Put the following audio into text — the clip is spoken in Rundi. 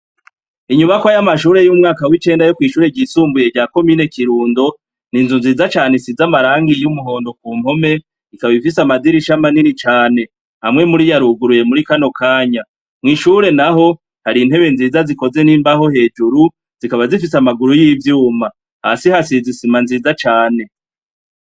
Inyubakwa y'amashure y'umwaka w'icenda yo kw'ishure ryisumbuye rya komine Kirundo, n'inzu nziza cane isize amarangi y'umuhondo kumpome, ikaba ifise amadirisha manini cane. Amwe muriyo aruguruye muri kano kanya. Mw'ishuri naho, har'intebe nziza zikoze n'imbaho hejuru, zikanba zifise amaguru y'ivyuma. Hasi hasize isima nziza cane.